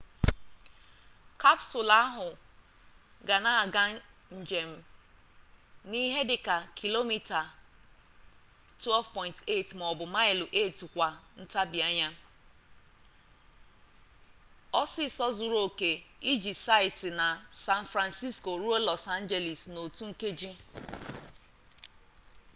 kapsụlụ ahụ ga na-aga njem n'ihe dịka km 12.8 maọbụ maịlụ 8 kwa ntabianya ọsịịsọ zuru oke iji site na san francisco ruo los angeles n'otu nkeji